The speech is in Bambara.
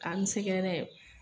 Ka n sɛgɛrɛ